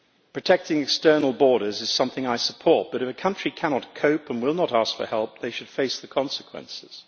Protecting external borders is something I support, but if a country cannot cope and will not ask for help, they should face the consequences.